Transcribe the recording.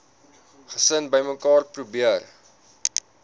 gesin bymekaar probeer